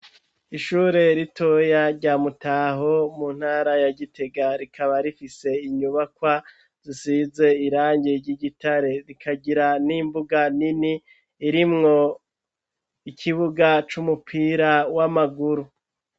Ishure ritoya rya mutaho ,mu ntara ya gitega, rikaba rifise inyubakwa zisize irangi ry'igitare, rikagira n'imbuga nini, irimwo ikibuga c'umupira w'amaguru.